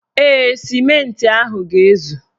Ee, sịmentị ahụ ga-ezu.